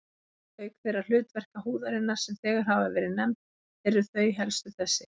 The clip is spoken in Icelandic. Auk þeirra hlutverka húðarinnar, sem þegar hafa verið nefnd, eru þau helstu þessi